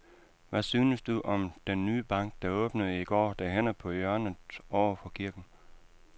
Hvad synes du om den nye bank, der åbnede i går dernede på hjørnet over for kirken?